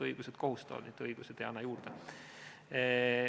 Õigused kohustavad, mitte ei anna juurde.